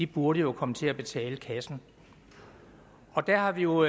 burde jo komme til at betale kassen der har vi jo